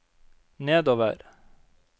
nedover